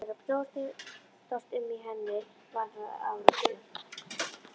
Þetta var að brjótast um í henni, varð að áráttu.